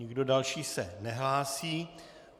Nikdo další se nehlásí.